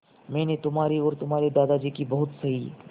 मैंने तुम्हारी और तुम्हारे दादाजी की बहुत सही